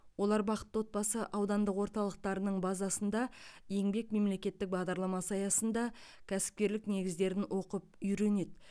олар бақытты отбасы аудандық орталықтарының базасында еңбек мемлекеттік бағдарламасы аясында кәсіпкерлік негіздерін оқып үйренеді